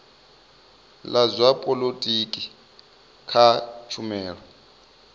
la zwa polotiki kha tshumelo